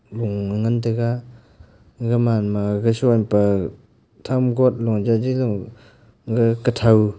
gan taiga aga ma gashon ga pe thum got loja ji ley ga kathu.